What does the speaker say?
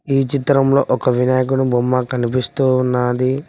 ఈ చిత్రంలో ఒక వినాయకుడు బొమ్మ కనిపిస్తూ ఉన్నది.